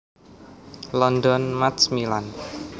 London Macmillan